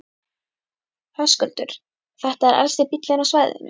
Höskuldur: Þetta er elsti bíllinn á svæðinu?